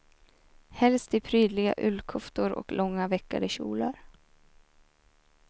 Helst i prydliga ullkoftor och långa, veckade kjolar.